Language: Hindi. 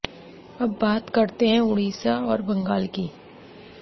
अब बात करते हैं उड़ीसा और बंगाल की